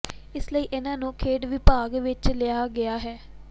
ਇਸ ਲਈ ਇਨ੍ਹਾਂ ਨੂੰ ਖੇਡ ਵਿਭਾਗ ਵਿੱਚ ਹੀ ਲਾਇਆ ਗਿਆ ਹੈ